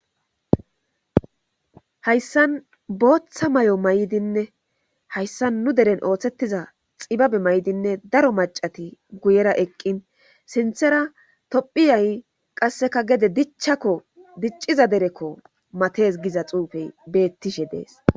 Haysan botha mayo mayidinne xibabe mayidine qase gede dichakko diciza dereko mattes giza xufey betisbe dees.